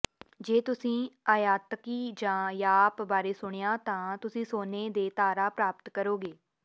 ਜੇ ਤੁਸੀਂ ਆਯਾਤਕੀ ਜਾਂ ਯਾਪ ਬਾਰੇ ਸੁਣਿਆ ਤਾਂ ਤੁਸੀਂ ਸੋਨੇ ਦੇ ਤਾਰਾ ਪ੍ਰਾਪਤ ਕਰੋਗੇ